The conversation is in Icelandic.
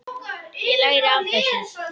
Ég læri af þessu.